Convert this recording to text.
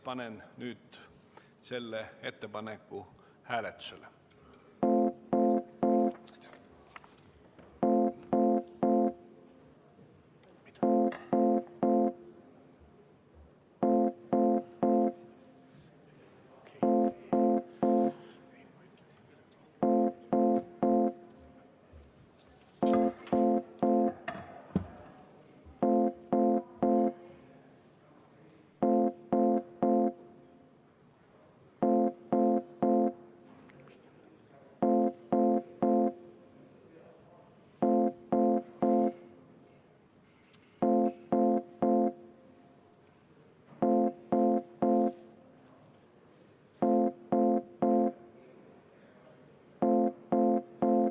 Panen selle ettepaneku nüüd hääletusele.